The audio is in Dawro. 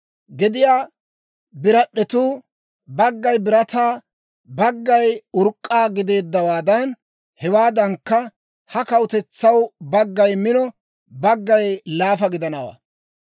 Gediyaa birad'd'etuu baggay birataa, baggay urk'k'a gideeddawaadan, hewaadankka ha kawutetsaw baggay mino, baggay laafa gidanawaa.